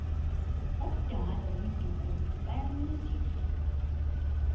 umdala nomdikoni bayancedisana